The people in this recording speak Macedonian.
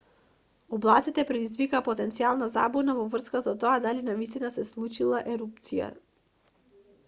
облаците предизвикаа потенцијална забуна во врска со тоа дали навистина се случила ерупција